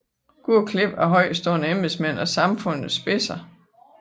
Gode klip af højtstående embedsmænd og samfundets spidser